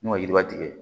N'o ye yiriba tigɛ